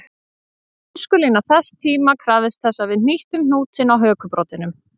Tískulína þess tíma krafðist þess að við hnýttum hnútinn á hökubroddinum